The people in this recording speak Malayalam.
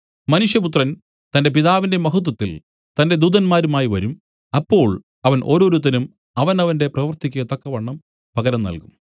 മനുഷ്യപുത്രൻ തന്റെ പിതാവിന്റെ മഹത്വത്തിൽ തന്റെ ദൂതന്മാരുമായി വരും അപ്പോൾ അവൻ ഓരോരുത്തനും അവനവന്റെ പ്രവൃത്തിക്കു തക്കവണ്ണം പകരം നല്കും